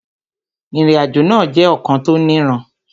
Ìrìnàjò náà jẹ́ ọ̀kan tó niran